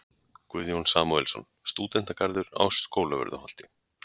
Guðjón Samúelsson: Stúdentagarður á Skólavörðuholti.